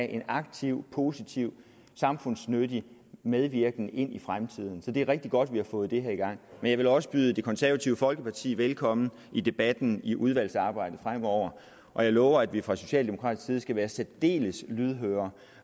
en aktiv positiv samfundsnyttig medvirken i fremtiden så det er rigtig godt at vi har fået det her i gang men jeg vil også byde det konservative folkeparti velkommen i debatten i udvalgsarbejdet fremover og jeg lover at vi fra socialdemokratisk side skal være særdeles lydhøre